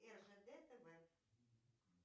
ржд тв